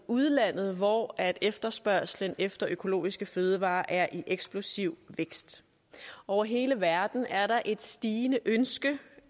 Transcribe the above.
udlandet hvor efterspørgslen efter økologiske fødevarer er i eksplosiv vækst over hele verden er der et stigende ønske